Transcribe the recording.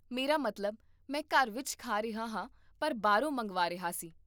ਮੇਰਾ ਮਤਲਬ, ਮੈਂ ਘਰ ਵਿੱਚ ਖਾ ਰਿਹਾ ਹਾਂ ਪਰ ਬਾਹਰੋਂ ਮੰਗਵਾ ਰਿਹਾ ਸੀ